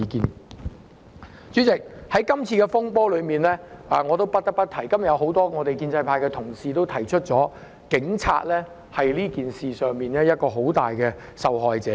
代理主席，關於這次風波，我不得不提——很多建制派議員今天亦已指出——警察在這事件中是很大的受害者。